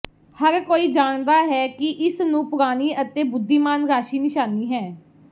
ਹਰ ਕੋਈ ਜਾਣਦਾ ਹੈ ਕਿ ਇਸ ਨੂੰ ਪੁਰਾਣੀ ਅਤੇ ਬੁੱਧੀਮਾਨ ਰਾਸ਼ੀ ਨਿਸ਼ਾਨੀ ਹੈ